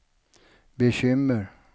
bekymmer